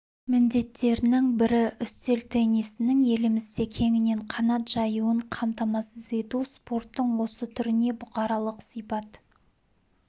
міндеттерінің бірі үстел теннисінің елімізде кеңінен қанат жаюын қамтамасыз ету спорттың осы түріне бұқаралық сипат